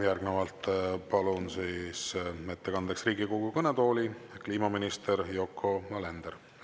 Järgnevalt palun ettekandeks Riigikogu kõnetooli kliimaminister Yoko Alenderi.